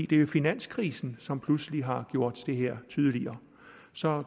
det er jo finanskrisen som pludselig har gjort det her tydeligere så